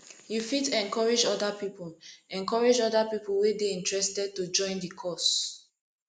you fit encourage oda pipo encourage oda pipo wey dey interested to join the cause